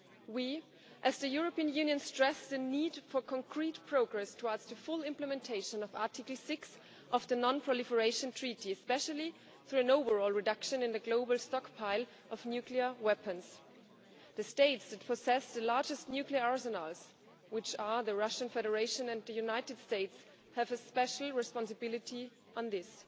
We, as the European Union, stressed the need for concrete progress towards the full implementation of Article 6 of the non proliferation treaty especially through an overall reduction in the global stockpile of nuclear weapons. The states that possess the largest nuclear arsenals which are the Russian Federation and the United States have a special responsibility on this.